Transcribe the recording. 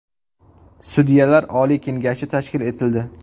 Sudyalar oliy kengashi tashkil etildi.